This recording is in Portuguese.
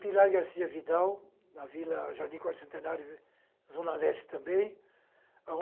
Pilar Garcia Vidal, na Vila Jardim Quarto Centenário, Zona Leste também.